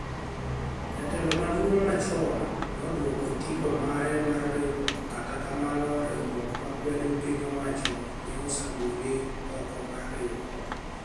Jatelo maduonig machoni noduoko otiko mare mar riwruok kata kamano riwruok makwedo piniy owacho ni e osegole ok mar riwruok .